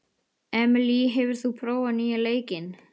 Emely, hefur þú prófað nýja leikinn?